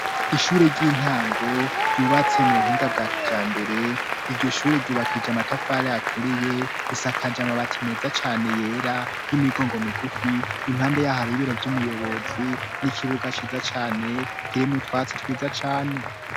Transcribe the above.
Ishure ry'intango, ryubatse mu buhinga bwa kijambere, iryo shure ryubakishije amatafari aturiye risakaje amabati meza cane yera, y'imigongo migufi, impande ya ho hari ibiro vy'umuyobozi, n'ikibuga ciza cane, kirimwo utwatsi twiza cane.